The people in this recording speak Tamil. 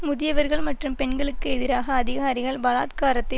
முதியவர்கள் மற்றும் பெண்களுக்கு எதிராக அதிகாரிகள் பலாத்காரத்தை